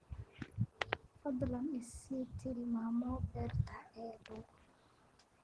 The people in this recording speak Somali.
fadlan i sii tilmaamo beerta ii dhow